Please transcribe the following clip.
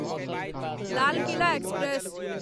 Lal Qila express